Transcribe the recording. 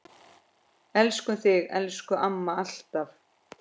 Elskum þig, elsku amma, alltaf.